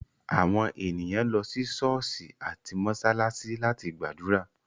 Àwọn ènìyàn lọ sí ṣọ̀ọ́sì àti mósálásí láti gbàdúrà.